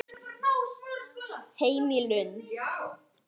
Heim í Lund.